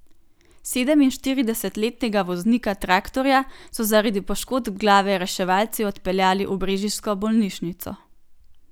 Sedeminštiridesetletnega voznika traktorja so zaradi poškodb glave reševalci odpeljali v brežiško bolnišnico.